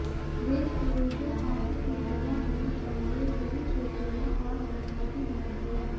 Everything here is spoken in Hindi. देशद्रोही को फांसी की सजा होनी चाहिए यह शिवसेना और जनता की भावना है